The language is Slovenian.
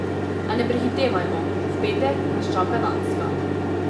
A ne prehitevajmo, v petek nas čaka Danska.